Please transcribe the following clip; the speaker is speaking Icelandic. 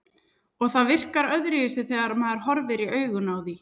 Og það virkar öðruvísi þegar maður horfir í augun á því.